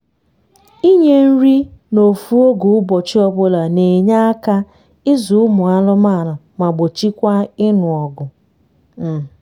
ịnye nri na ofu oge ụbọchị ọbula n’enye aka ịzụ ụmụ anụmanụ ma gbochikwa ịnụ ọgụ um